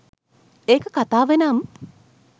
ඒක කතාව නම්